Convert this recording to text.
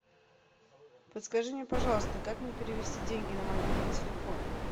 подскажи мне пожалуйста как мне перевести деньги на мобильный телефон